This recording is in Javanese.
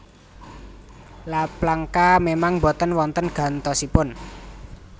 La Plancha memang mboten wonten gantosipun